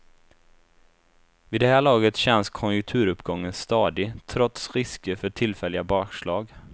Vid det här laget känns konjunkturuppgången stadig, trots risker för tillfälliga bakslag.